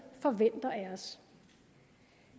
forventer af os